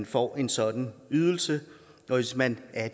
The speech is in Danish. får en sådan ydelse og hvis man er